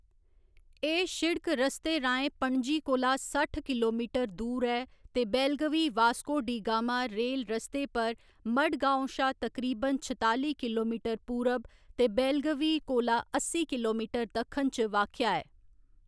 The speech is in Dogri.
एह्‌‌ सिड़क रस्ते राहें पणजी कोला सट्ठ किलोमीटर दूर ऐ ते बेलगवी वास्को डी गामा रेल रस्ते पर मडगाँव शा तकरीबन छताली किलोमीटर पूरब ते बेलगवी कोला अस्सी किलोमीटर दक्खन च वाक्या ऐ।